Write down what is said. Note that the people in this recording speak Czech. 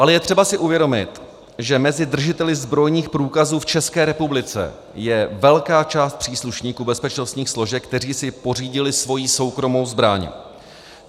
Ale je třeba si uvědomit, že mezi držiteli zbrojních průkazů v České republice je velká část příslušníků bezpečnostních složek, kteří si pořídili svoji soukromou zbraň.